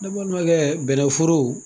Ne balimankɛ bɛnɛ foro